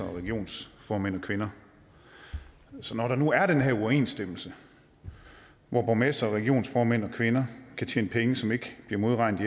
og regionsformænd og kvinder så når der nu er den her uoverensstemmelse hvor borgmestre og regionsformænd og kvinder kan tjene penge som ikke bliver modregnet